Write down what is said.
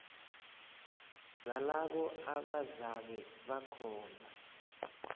zalabo abazabe bakhona